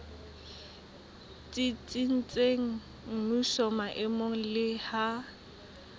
tsitsitseng mmusong maemong le ha